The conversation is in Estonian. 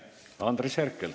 Andres Herkel.